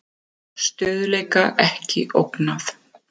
Stöðugleika ekki ógnað